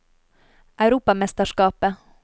europamesterskapet